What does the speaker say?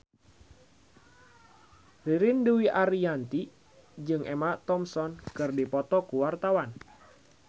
Ririn Dwi Ariyanti jeung Emma Thompson keur dipoto ku wartawan